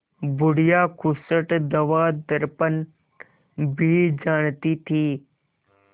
बुढ़िया खूसट दवादरपन भी जानती थी